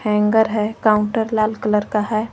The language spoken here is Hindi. हैंगर है काउंटर लाल कलर का है।